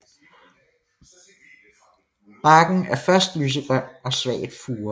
Barken er først lysegrøn og svagt furet